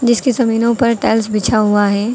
जिसके जमीनों पर टाइल्स बिछा हुआ है।